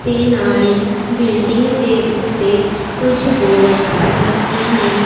ਤੇ ਨਾਲੇ ਬਿਲਡਿੰਗ ਦੇ ਉੱਤੇ ਕੁਝ ਬੋਰਡ ਲੱਗੇ ਨੇ।